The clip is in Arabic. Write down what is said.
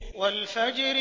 وَالْفَجْرِ